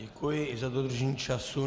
Děkuji i za dodržení času.